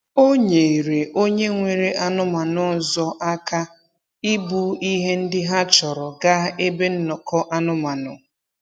O nyeere onye nwere anụmanụ ọzọ aka ibu ihe ndị ha chọrọ gaa ebe nnọkọ anụmanụ.